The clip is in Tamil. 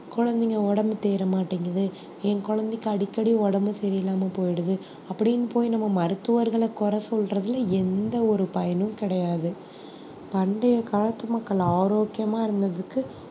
குழந்தைங்க உடம்பு தேற மாட்டேங்குது என் குழந்தைக்கு அடிக்கடி உடம்பு சரியில்லாம போயிடுது அப்படின்னு போய் நம்ம மருத்துவர்கள குறை சொல்றதுல எந்த ஒரு பயனும் கிடையாது பண்டைய காலத்து மக்கள் ஆரோக்கியமா இருந்ததுக்கு